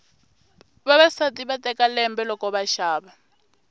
vavasati va teka lembe loko va xava